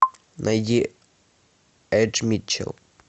найди эдж митчел